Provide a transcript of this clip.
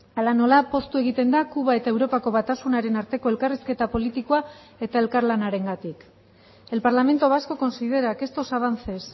hala nola poztu egiten da kuba eta europako batasunaren arteko elkarrizketa politikoa eta elkarlanarengatik el parlamento vasco considera que estos avances